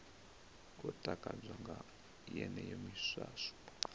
khou takadzwa nga yeneyo miswaswo